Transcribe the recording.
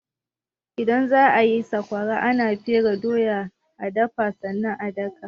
Idan za a yi sakwara, ana fere doya,a dafa sannan a daka.